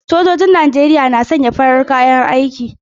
Sojojin ruwan Najeriya na sanye da farar kalar kayan aiki.